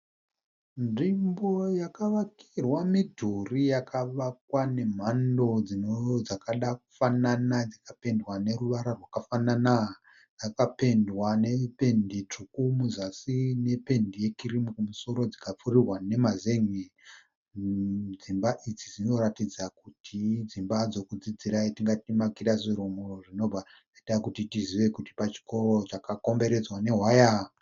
Nzvimbo yakavakirwa midhuri yakavakwa nemhando dzino dzakada kufanana dzakapendwa neruvara rwakafanana . Yakapendwa nependi tsvuku muzasi nependi yekirimu kumusoro dzikapfururwa nemazenge . Dzimba idzi dzinoratidza kuti idzimba dzokudzidzira yatingati makirasirumu zvinobva zvaita kuti tizive kuti pachikoro dzakakomberedzwa newaya .